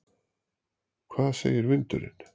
Hvað segir vindurinn?